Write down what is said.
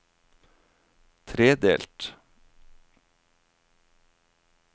tredelt